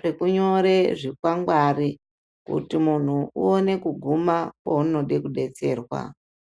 zveku nyore zvi kwangwari kuti munhu uone kuguma paunode ku detserwa.